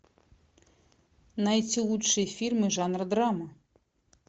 найти лучшие фильмы жанра драма